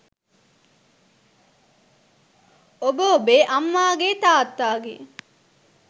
ඔබ ඔබේ අම්මාගේ තාත්තාගේ